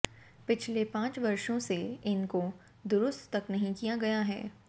पिछले पांच वर्षों से इनकों दुरुस्त तक नहीं किया गया है